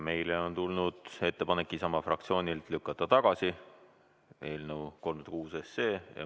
Meile on tulnud Isamaa fraktsioonilt ettepanek lükata eelnõu 306 tagasi.